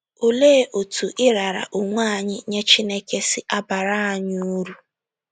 Olee otú ịrara onwe anyị nye Chineke si abara anyị uru?